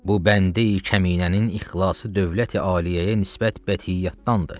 Bu bəndə kəminənin ixlası dövlət-i aliyəyə nisbət bətiyyatdandır.